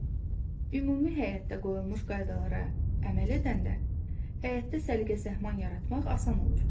Ümumi həyətdə qoyulmuş qaydalara əməl edəndə həyətdə səliqə-səhman yaratmaq asan olur.